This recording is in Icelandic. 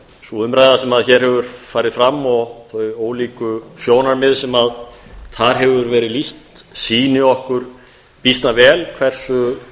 sú umræða sem hér hefur farið fram og ólík sjónarmið sem þar hefur verið lýst sýni okkur býsna vel hversu